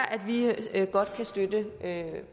at vi godt kan støtte